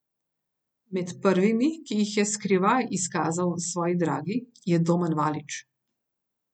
Med prvimi, ki jih je skrivaj izkazal svoji dragi, je Domen Valič.